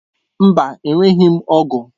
Mba enweghị m ọ̀gu.